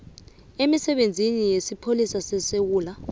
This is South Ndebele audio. emisebenzini yesipholisa sesewula